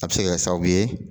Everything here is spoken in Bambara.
A be se ka kɛ sababu ye